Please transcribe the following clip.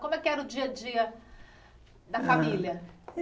Como é que era o dia-a-dia da família?